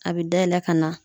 A bɛ dayɛlɛ ka na